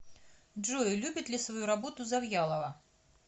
джой любит ли свою работу завьялова